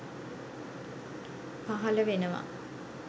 පහල වෙනවා